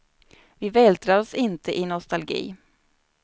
Vi vältrar oss inte i nostalgi.